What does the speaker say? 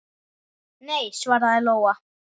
Nei, svaraði Lóa.